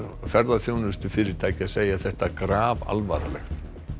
ferðaþjónustufyrirtækja segja þetta grafalvarlegt